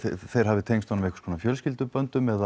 þeir hafi tengst honum einhvers konar fjölskylduböndum eða